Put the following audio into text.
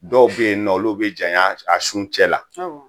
Dɔw bɛ yen nɔ, o bɛ olu bɛ janya sa un cɛ la, awɔ.